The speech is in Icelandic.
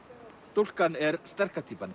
stúlkan er sterka